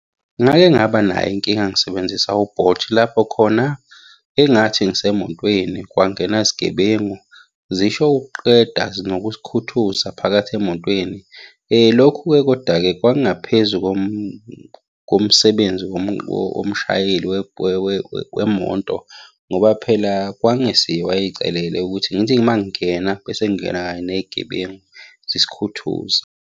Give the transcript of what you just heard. Ngake ngaba nayo inkinga ngisebenzisa u-Bolt. Lapho khona engathi ngisemotweni kwangena izigebengu zisho ukuqeda ngokusithuza phakathi emotweni. Lokhu-ke koda-ke kwakungaphezu komsebenzi womshayeli wemoto ngoba phela kwakungesiye owayey'celele ukuthi ngithi uma ngingena bese ngingena kanye ney'gebengu zisikhuthuze.